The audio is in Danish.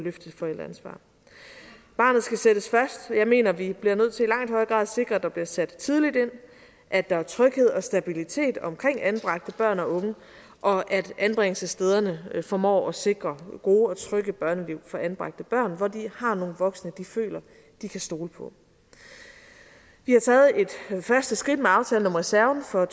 et forældreansvar barnet skal sættes først jeg mener at vi bliver nødt til at sikre at der bliver sat tidligt ind at der er tryghed og stabilitet omkring anbragte børn og unge og at anbringelsesstederne formår at sikre gode og trygge børneliv for anbragte børn hvor de har nogle voksne de føler de kan stole på vi har taget et første skridt med aftalen om reserven for